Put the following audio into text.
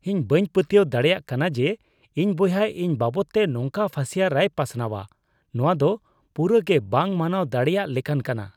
ᱤᱧ ᱵᱟᱹᱧ ᱯᱟᱹᱛᱭᱟᱹᱣ ᱫᱟᱲᱮᱭᱟᱜ ᱠᱟᱱᱟ ᱡᱮ ᱤᱧ ᱵᱚᱭᱦᱟ ᱤᱧ ᱵᱟᱵᱚᱫᱛᱮ ᱱᱚᱝᱠᱟ ᱯᱷᱟᱹᱥᱤᱭᱟᱹᱨᱟᱭ ᱯᱟᱥᱱᱟᱣᱟ ᱾ ᱱᱚᱣᱟ ᱫᱚ ᱯᱩᱨᱟᱹ ᱜᱮ ᱵᱟᱝ ᱢᱟᱱᱟᱣ ᱫᱟᱲᱮᱭᱟᱜ ᱞᱮᱠᱟᱱ ᱠᱟᱱᱟ ᱾